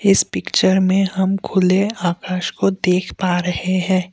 इस पिक्चर में हम खुले आकाश को देख पा रहे हैं।